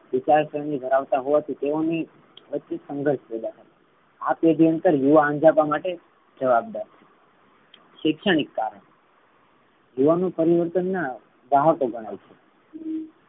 વિચારશક્તિ ધરાવતા હોવાથી તેઓની સંઘર્ષ આ પેઢી અંતર યુવા અંજપા માટે જવાબદાર છે. શિક્ષણિક કારણ યુવાનો પરિવર્તન ના ગ્રાહકો ગણાય છે.